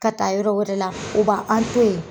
Ka taa yɔrɔ wɛrɛ la u ba an to ye.